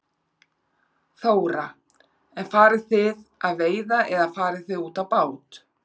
Þóra: En farið þið að veiða eða farið þið út á bát?